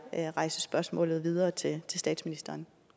jeg rejse spørgsmålet videre til statsministeren